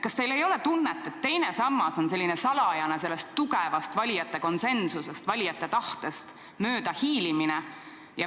Kas teil ei ole tunnet, et teine sammas on selline salajane möödahiilimine sellest valijate tugevast ja konsensuslikust soovist?